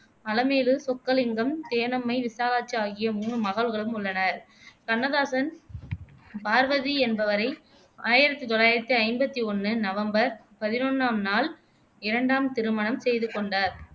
அலமேலு சொக்கலிங்கம், தேனம்மை, விசாலாட்சி ஆகிய மூணு மகள்களும் உள்ளனர் கண்ணதாசன் பார்வதி என்பவரை ஆயிரத்தி தொள்ளாயிரத்தி ஐம்பத்தி ஒண்ணு நவம்பர் பதினொன்னாம் நாள் இரண்டாம் திருமணம் செய்துகொண்டார்